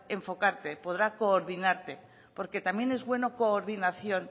enfocarte podrá coordinarte porque también es bueno coordinación